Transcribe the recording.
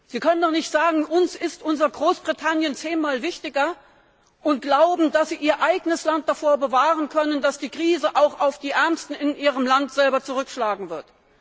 Sie können doch nicht sagen Uns ist unser Großbritannien zehnmal wichtiger, und glauben, dass Sie Ihr eigenes Land davor bewahren können, dass die Krise auch auf die Ärmsten in Ihrem Land zurückschlagen wird.